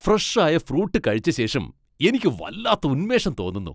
Fresh ആയ fruit കഴിച്ച ശേഷം എനിക്ക് വല്ലാത്ത ഉന്മേഷം തോന്നുന്നു.